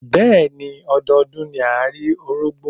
Bẹ́ẹ̀ni, ọdọọdún ni à rí Orógbó.